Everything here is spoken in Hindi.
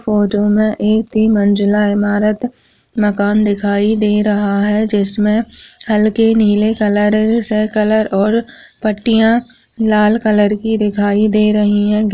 फोटो में में एक तीन मंजिला इमारत माकन दिखाई दे रहा है जिसमे हलके नीले कलर से कलर और पटियाँ लाल कलर की दिखाई दे रही हैं।